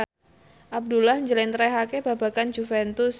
Abdullah njlentrehake babagan Juventus